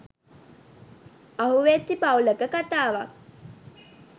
අහුවෙච්චි පවුලක කතාවක්.